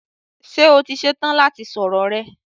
Ṣé o ti ṣe tán láti sọ̀rọ̀ rẹ?